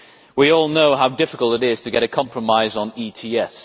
We all know how difficult it is to get a compromise on ETS.